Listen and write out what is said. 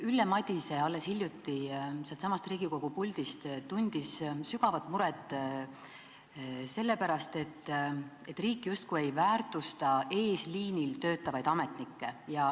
Ülle Madise avaldas alles hiljuti siinsamas Riigikogu puldis sügavat muret selle pärast, et riik justkui ei väärtusta eesliinil töötavaid ametnikke.